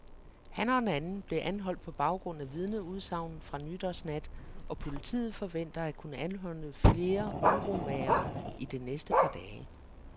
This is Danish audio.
Han og en anden blev anholdt på baggrund af vidneudsagn fra nytårsnat, og politiet forventer at kunne anholde flere uromagere i det næste par dage.